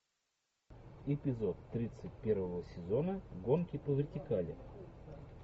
эпизод тридцать первого сезона гонки по вертикали